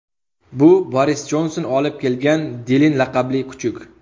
Bu Boris Jonson olib kelgan Dilin laqabli kuchuk.